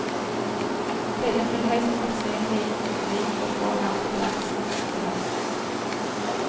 Pillen vil høyst sannsynlig bli å få her til lands i høst.